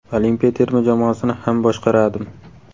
Olimpiya terma jamoasini ham boshqaradim.